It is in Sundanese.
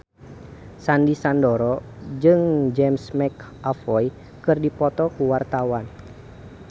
Sandy Sandoro jeung James McAvoy keur dipoto ku wartawan